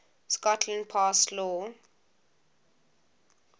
scotland passed law